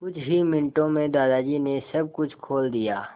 कुछ ही मिनटों में दादाजी ने सब कुछ खोल दिया